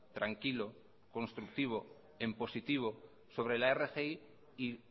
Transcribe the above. tranquilo constructivo en positivo sobre la rgi y